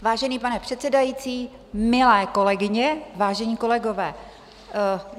Vážený pane předsedající, milé kolegyně, vážení kolegové.